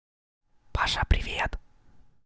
паша привет